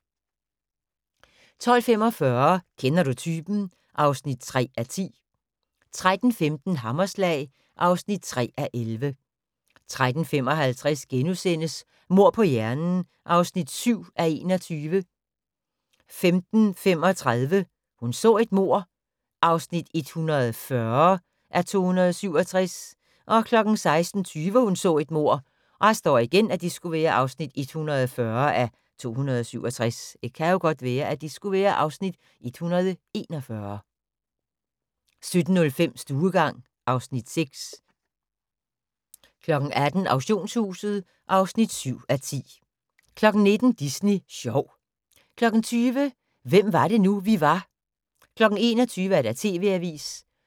12:45: Kender du typen? (3:10) 13:15: Hammerslag (3:11) 13:55: Mord på hjernen (7:21)* 15:35: Hun så et mord (140:267) 16:20: Hun så et mord (140:267) 17:05: Stuegang (Afs. 6) 18:00: Auktionshuset (7:10) 19:00: Disney sjov 20:00: Hvem var det nu, vi var 21:00: TV-avisen